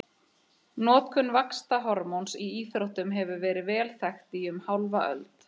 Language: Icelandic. Notkun vaxtarhormóns í íþróttum hefur verið vel þekkt í um hálfa öld.